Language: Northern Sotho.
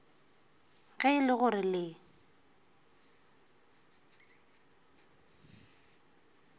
ge e le gore le